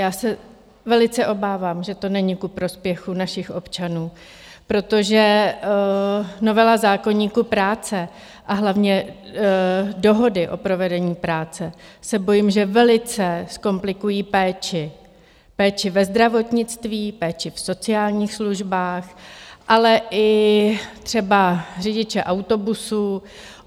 Já se velice obávám, že to není ku prospěchu našich občanů, protože novela zákoníku práce, a hlavně dohody o provedení práce se bojím, že velice zkomplikují péči, péči ve zdravotnictví, péči v sociálních službách, ale i třeba řidiče autobusů.